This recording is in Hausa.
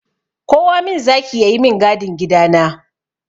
Kowa min zaki ya yi min gadin gida na!